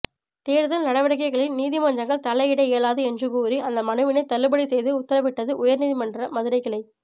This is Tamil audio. தேர்தல் நடவடிக்கைகளில் நீதிமன்றங்கள் தலையிட இயலாது என்று கூறி அந்த மனுவினை தள்ளுபடி செய்து உத்தரவிட்டது உயர்நீதிமன்ற மதுரைக் கிளை